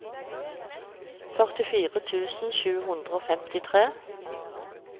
førtifire tusen sju hundre og femtitre